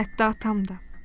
Hətta atam da.